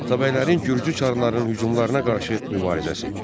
Atabəylərin Gürcü çarlarının hücumlarına qarşı mübarizəsi.